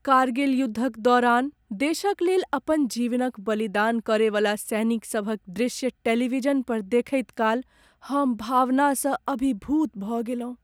कारगिल युद्धक दौरान देशक लेल अपन जीवनक बलिदान करयवला सैनिकसभक दृश्य टेलीविजन पर देखैत काल हम भावनासँ अभिभूत भऽ गेलहुँ।